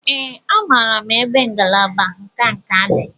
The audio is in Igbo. Ee, amaara m ebe ngalaba nka nka dị.